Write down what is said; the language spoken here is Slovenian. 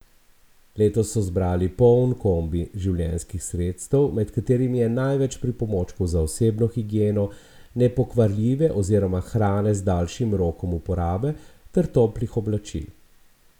Letos so zbrali poln kombi življenjskih sredstev, med katerimi je največ pripomočkov za osebno higieno, nepokvarljive oziroma hrane z daljšim rokom uporabe ter toplih oblačil.